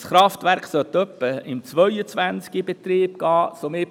Dieses Kraftwerk sollte in etwa im Jahr 2022 in Betrieb genommen werden.